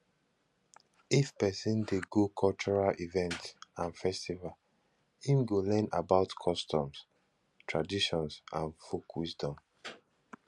if persin de go cultural events and festivals im go learn about customs traditions and folk wisdom